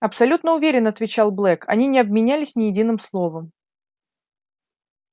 абсолютно уверен отвечал блэк они не обменялись ни единым словом